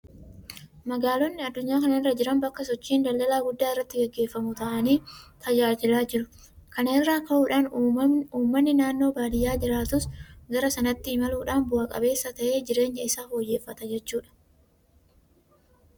Magaalonni addunyaa kana irra jiran bakka sochiin daldalaa guddaa irratti gaggeeffamu ta'anii tajaajilaa jiru. Kana irraa ka'uudhaan uummanni naannoo baadiyyaa jiraatus gara sanatti imaluudhaan bu'a qabeessa ta'ee jireenya isaa fooyyeffata jechuudha.